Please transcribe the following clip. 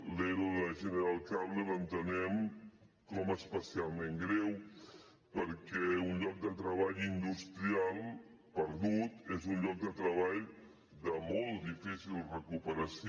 l’ero de general cable l’entenem com a especialment greu perquè un lloc de treball industrial perdut és un lloc de treball de molt difícil recuperació